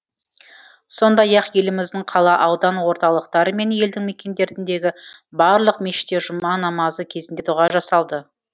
сондай ақ еліміздің қала аудан орталықтары мен елді мекендеріндегі барлық мешітте жұма намазы кезінде дұға жасалды